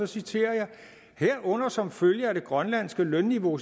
citerer jeg herunder som følge af det grønlandske lønniveau